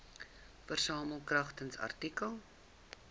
versamel kragtens artikel